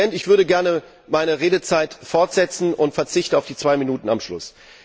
Herr Präsident, ich würde gerne meine Redezeit fortsetzen und verzichte auf die zwei Minuten am Schluss.